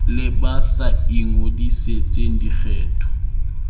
le ba sa ingodisetseng dikgetho